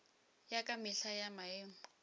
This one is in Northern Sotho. ya ka mehla ya maemo